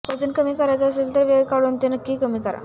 वजन कमी करायचे असेल तर वेळ काढून ते कमी करतात